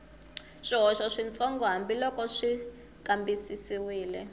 swihoxo switsongo hambiloko xi kambisisiwile